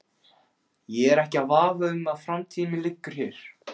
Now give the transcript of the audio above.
Ég er ekki í vafa um að framtíð mín liggur hér.